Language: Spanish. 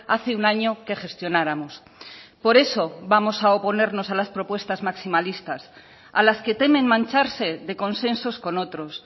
hace un año que gestionáramos por eso vamos a oponernos a las propuestas maximalistas a las que temen mancharse de consensos con otros